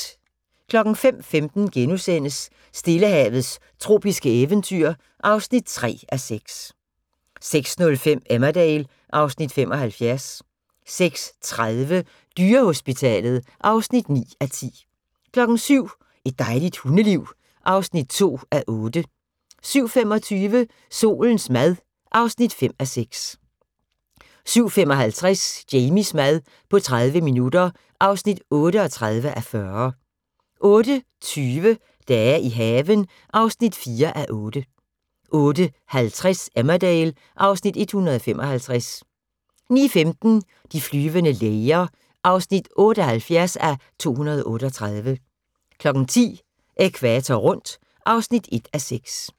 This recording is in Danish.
05:15: Stillehavets tropiske eventyr (3:6)* 06:05: Emmerdale (Afs. 75) 06:30: Dyrehospitalet (9:10) 07:00: Et dejligt hundeliv (2:8) 07:25: Solens mad (5:6) 07:55: Jamies mad på 30 minutter (38:40) 08:20: Dage i haven (4:8) 08:50: Emmerdale (Afs. 155) 09:15: De flyvende læger (78:238) 10:00: Ækvator rundt (1:6)